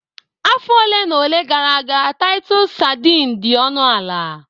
Afọ ole na ole gara aga Titus sardine dị ọnụ ala